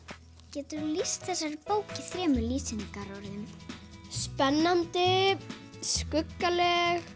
geturðu lýst bókinni í þremur lýsingarorðum spennandi skuggaleg